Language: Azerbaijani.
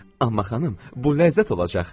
Amma xanım, bu ləzzət olacaq.